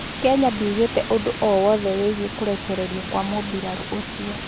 Kenya ndiugĩte ũndũ o wothe wĩgĩe kũrekererio kwa mũmbirarũ ucĩo